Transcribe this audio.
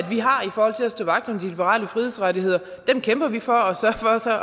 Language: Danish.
stå vagt om de liberale frihedsrettigheder kæmper vi for